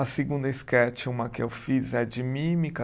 A segunda esquete, uma que eu fiz, é de mímica.